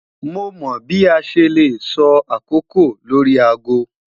Mo mọ bi a ṣe le sọ akoko lori aago